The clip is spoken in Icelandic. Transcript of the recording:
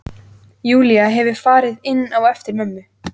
Júlía hefur farið inn á eftir mömmu.